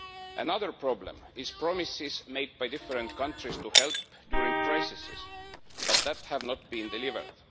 Another problem is promises made by different countries to help during crises but which have not been delivered.